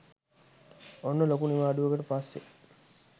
ඔන්න ලොකු නිවාඩුවකට පස්සේ